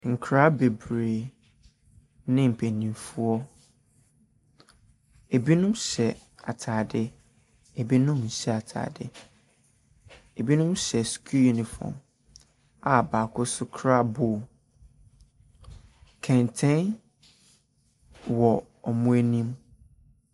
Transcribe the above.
Nkoraa beberee ne mpanimfoɔ. Ebinom hyɛ ataade, ebinom nhyɛ ataade. Ebinom hyɛ sukuu unifɔm a baako so kura bol. Kɛntɛn wɔ ɔmo anim.